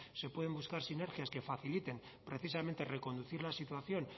se pueden buscar sinergias que faciliten precisamente reconducir la situación